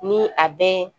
Ni a bɛ